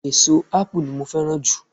eso ápù ni mo fẹràn ju